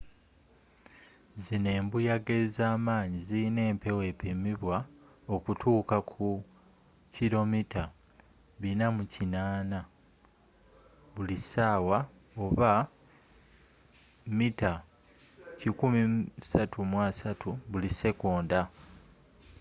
zzino embuyaga ezaamanyi zilina empewo epimibwa okutuuka ku 480 km/h 133 m/s; 300 mph